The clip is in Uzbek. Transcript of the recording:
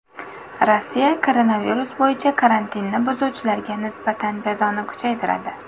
Rossiya koronavirus bo‘yicha karantinni buzuvchilarga nisbatan jazoni kuchaytiradi.